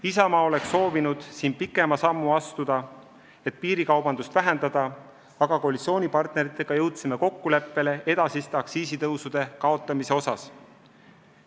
Isamaa oleks soovinud siin pikema sammu astuda, et piirikaubandust vähendada, aga koalitsioonipartneritega jõudsime kokkuleppele edasiste aktsiisitõusude ärajätmise osas.